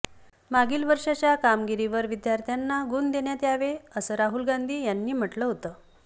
मागील वर्षाच्या कामगिरीवर विद्यार्थ्यांना गुण देण्यात यावे असं राहुल गांधी यांनी म्हटलं होतं